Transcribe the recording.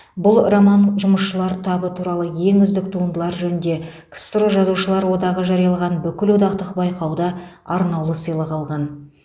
бұл роман жұмысшылар табы туралы ең үздік туындылар жөнінде ксро жазушылар одағы жариялаған бүкілодақтық байқауда арнаулы сыйлық алған